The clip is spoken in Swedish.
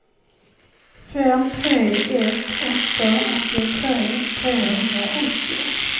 fem tre ett åtta åttiotre trehundraåttio